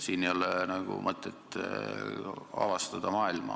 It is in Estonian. Siin ei ole mõtet maailma avastada.